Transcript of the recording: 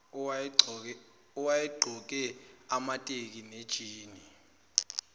owayegqoke amateki nejini